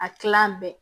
A kilan bɛɛ